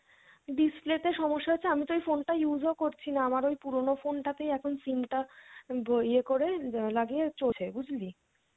display তে সমস্যা হয়েছে আমিতো ওই phone টা use ও করছিনা আমার ওই পুরোনো phone টা তেই এখন SIM টা ব ইয়ে করে লাগিয়ে চলছে বুঝলি?